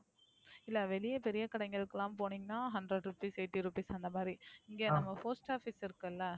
இல்ல வெளிய பெரிய கடைகளுக்குலாம் போனீங்கன்னா Hundred rupees eighty rupees அந்த மாதிரி இங்க நம்ம Post office இருக்குல